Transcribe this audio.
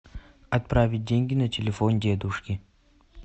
отправить деньги на телефон дедушке